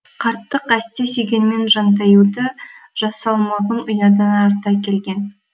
қарттық әсте сүйгенмен жантаюды жас салмағын ұядан арта келген